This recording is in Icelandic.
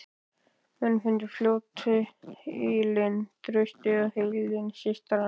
Menn fundu fljótt ylinn, traustið og heilindi systranna.